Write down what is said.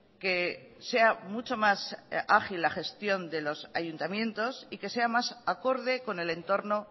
que sea mucho más ágil la gestión de los ayuntamientos y que sea más acorde con el entorno